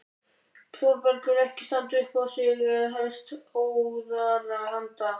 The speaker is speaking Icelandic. Þórbergur ekki standa upp á sig en hefst óðara handa.